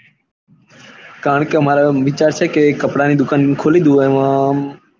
કારણ કે મારો મિત્ર છે કે ત્યાં કપડા ની ખુલ્લી જ હોય આમ.